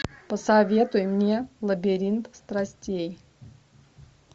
посоветуй мне лабиринт страстей